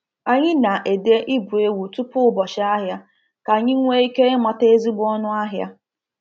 Anyị na-ede ibu ewu tupu ụbọchị ahịa ka anyị nwee ike ịmata ezigbo ọnụahịa.